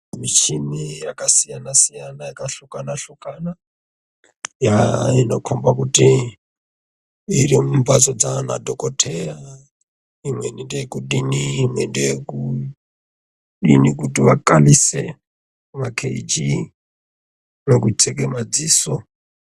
Michini yakasiyana siyana yakafukana fukana yaaa inokomba kuti irimumhatso dzana dhokoteya imweni ndeyekudini yekuti vakwanise makheijii nekucheka madziso.